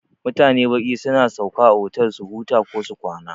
Mutane baƙi suna sauka a otal su huta kosu kwana.